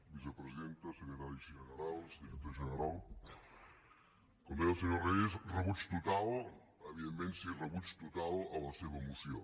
vicepresidenta secretaris generals director general com deia el senyor reyes rebuig total evidentment que sí a la seva moció